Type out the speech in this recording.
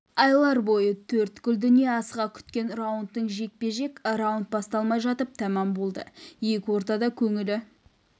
айлар бойы төрткүл дүние асыға күткен раундтық жекпе-жек раунд басталмай жатып тәмам болды екі ортада көңілі